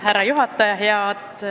Härra juhataja!